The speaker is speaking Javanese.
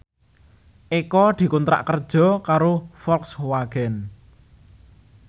Eko dikontrak kerja karo Volkswagen